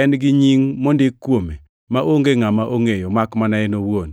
En gi nying mondik kuome, maonge ngʼama ongʼeyo, makmana en owuon.